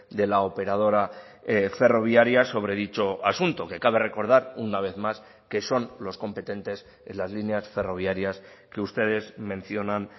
de la operadora ferroviaria sobre dicho asunto que cabe recordar una vez más que son los competentes en las líneas ferroviarias que ustedes mencionan